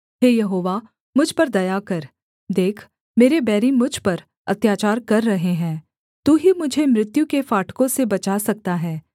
हे यहोवा मुझ पर दया कर देख मेरे बैरी मुझ पर अत्याचार कर रहे है तू ही मुझे मृत्यु के फाटकों से बचा सकता है